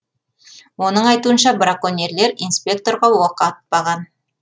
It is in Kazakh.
оның айтуынша браконьерлер инспекторға оқ атпаған